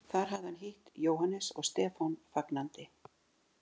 Þar hafði hann hitt Jóhannes og Stefán fagnandi.